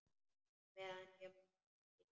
Meðan ég man, Helgi.